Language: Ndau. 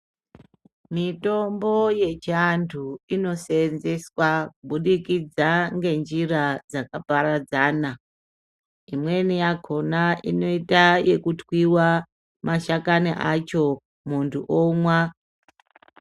Mitombo yechiantu inosenzeswa kubudikidza ngenjira dzakaparadzana. Imweni yakona inotoita ekuthwiwa mashakani acho muntu omwa.